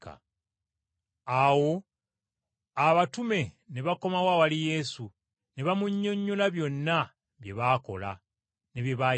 Awo abatume ne bakomawo awali Yesu ne bamunnyonnyola byonna bye baakola ne bye baayigiriza.